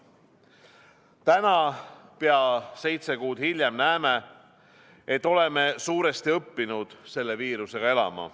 Täna, pea seitse kuud hiljem, näeme, et oleme suuresti õppinud selle viirusega elama.